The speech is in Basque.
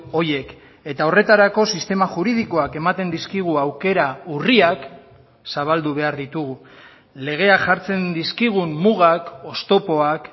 horiek eta horretarako sistema juridikoak ematen dizkigu aukera urriak zabaldu behar ditugu legeak jartzen dizkigun mugak oztopoak